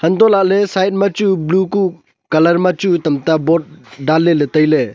antoh lah ley side ma chu blue kuh colour ma chu tamta boad danley le tailey.